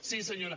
sí senyora